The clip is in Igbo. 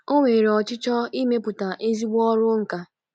O nwere ọchịchọ imepụta ezigbo ọrụ nkà.